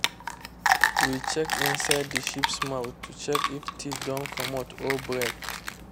we check inside the sheep’s mouth to check if teeth don commot or break.